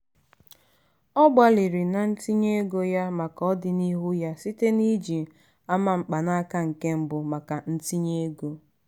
ọ gbalịrị na ntinye ego ya maka ọdinihu ya site n'iji ama mkpanaka nke mbụ maka ntinye ego.